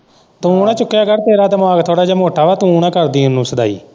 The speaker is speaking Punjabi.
ਤੂੰ ਨਾ ਚੁੱਕਿਆ ਕਰ ਤੇਰਾ ਦਿਮਾਗ ਥੌੜਾ ਮੋਟਾ ਵਾ ਤੂੰ ਨਾ ਕਰ ਦੀ ਉਨੂੰ ਸਦਾਈ।